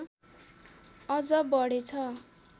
अझ बढेछ